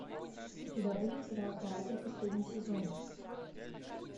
у тебя будет сериал каратель последний сезон